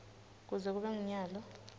kuze kube ngunyalo